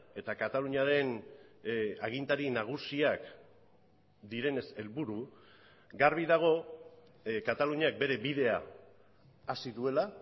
eta kataluniaren agintari nagusiak direnez helburu garbi dago kataluniak bere bidea hasi duela